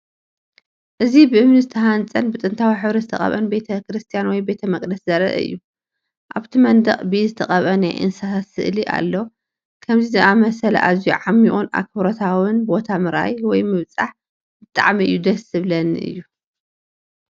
እዚ ብእምኒ ዝተሃንጸን ብጥንታዊ ሕብሪ ዝተቐብአን ቤተ ክርስቲያን ወይ ቤተ መቕደስ ዘርኢ እዩ። ኣብቲ መንደቕ ብኢድ ዝተቐብአ ናይ እንስሳታት ስእሊ ኣሎ። ከምዚ ዝኣመሰለ ኣዝዩ ዓሚቝን ኣኽብሮታውን ቦታ ምርኣይ ወይም ምብፃሕ ብጣዕሚ እዩ ደስ ዝብለኒ እዩ።